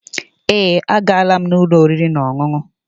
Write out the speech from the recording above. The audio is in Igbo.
Èé, agaala m ụlọ oriri na ọṅụṅụ.